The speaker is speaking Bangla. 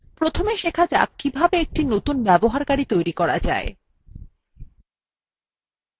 প্রথমে শেখা যাক কিভাবে একটি নতুন ব্যবহারকারী তৈরী করা যায়